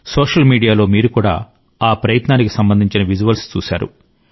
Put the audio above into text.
social మీడియాలో మీరు కూడా ఆ కృషికి సంబంధించిన విజువల్స్ చూశారు